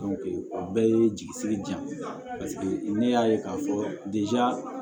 o bɛɛ ye jigi sigi diya ye ne y'a ye k'a fɔ